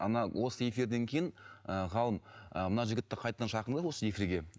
ана осы эфирден кейін ііі ғалым і мына жігітті қайтадан шақырыңдар осы эфирге